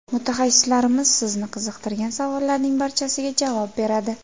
Mutaxassislarimiz sizni qiziqtirgan savollarning barchasiga javob beradi.